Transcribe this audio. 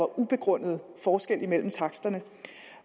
ubegrundet forskel mellem taksterne